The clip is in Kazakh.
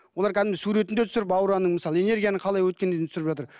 олар кәдімгідей суретін де түсіріп аураның мысалы энергияның қалай өткеніне дейін түсіріп жатыр